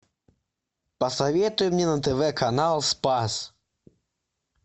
посоветуй мне на тв канал спас